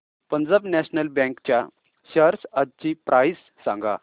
Punjab national bank च्या shares आजची price सांगा